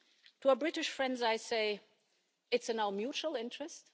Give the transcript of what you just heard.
To our British friends I say it's in our mutual interest.